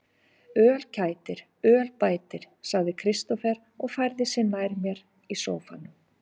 Öl kætir, öl bætir, sagði Kristófer og færði sig nær mér í sóffanum.